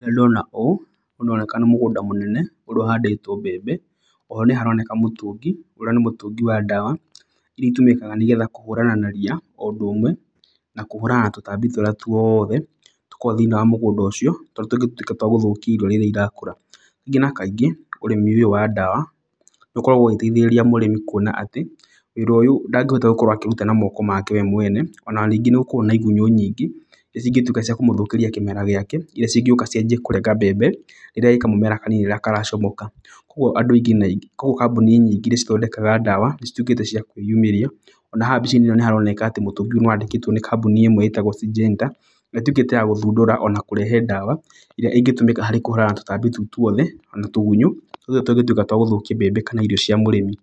Nĩ ndona ũũ ũroneka nĩ mũgũnda mũnene ũrĩa ũhandĩtwo mbembe. Oho nĩ haroneka mũtũngi, ũrĩa nĩ mũtũngi wa ndawa irĩa ĩtũmĩkaga nĩgetha kũhũrana na ria. O ũndũ ũmwe na kũhũrana na tũtaambi tũrĩa tũothe tũkoragwo thĩiniĩ wa mũgũnda ũcio tondũ tũngĩtuĩka twa gũthũkia irio rĩrĩa irakũra. Kaingĩ na kaingĩ ũrĩmi ũyũ wa ndawa nĩ ũkoragwo ũgĩteithĩrĩria mũrĩmi kuona atĩ wĩra ũyũ ndangĩhota gũkorwo akĩruta na moko make we mwene. Ona rĩngĩ nĩ ũkoragwo na igunyũ nyingĩ irĩa cingĩtuĩka cia kũmũthũkĩria kĩmera gĩake. Irĩa cingĩũka cianjie kũrenga mbembe rĩrĩa ĩĩ kamũmera kanini rĩrĩa karacomoka. Kogua kambuni nyingĩ irĩa cithondekaga ndawa nĩ cituĩkĩte cia kwĩyumĩria. Ona haha mbica-inĩ ĩno nĩ haroneka mũtũngi ũyũ nĩ wandĩkĩtwo nĩ kambuni ĩmwe ĩtagwo Sygenta, ĩrĩa ĩtuĩkĩte ya gũthundũra ona ya kũrehe ndawa ĩrĩa ĩngĩtũmĩka na kũhũrana na tũtaambi tũu twothe ona tũgunyũ tũrĩa tũngĩtuĩka twa gũthũkia mbembe kana irio cia mũrĩmi.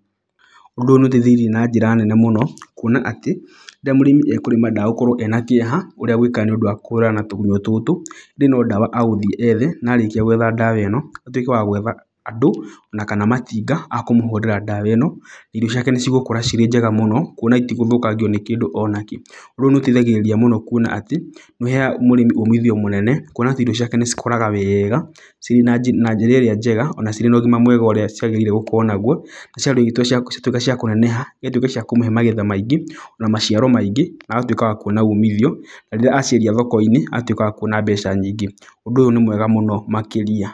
Ũndũ ũyũ nĩ ũteithĩrĩirie na njĩra nene mũno kuona atĩ rĩrĩa mũrĩmi ekũrĩma ndegũkorwo ena kĩeha ũrĩa egwĩka nĩ ũndũ wa kũhũrana na tũgunyũ tũtũ. Indĩ no ndawa agũthiĩ ethe na arĩkia gwetha ndawa ĩno, atuĩke wa gwetha andũ ona kana matinga akũmũhũrĩra ndawa ĩno. Irio ciake nĩ cigũkũra cirĩ njega mũno kuona itigũthũkangio nĩ kĩndũ ona kĩ Ũndũ ũyũ nĩ ũteithagĩrĩria mũno kuona atĩ, nĩ ũheaga mũrĩmi ũmithio mũnene. Kuona atĩ irio ciake nĩ cikũraga wega ciĩna njĩra ĩrĩa njega ona cirĩ na ũgima mwega ũrĩa ciagĩrĩire gũkorwo naguo. cituĩke cia kũneneha na cituĩke cia kũmũhe magetha maingĩ ona maciaro maingĩ. Agatuĩka wa kuona umithio, rĩrĩa aciendia thoko-inĩ agatuĩka wa kuona mbeca nyingĩ. Ũndũ ũyũ nĩ mwega mũno makĩria.